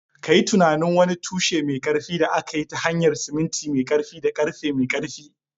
Ka yi tunanin wani tushe mai ƙarfi da aka yi ta hanyar siminti mai ƙarfi da ƙarfe mai ƙarfi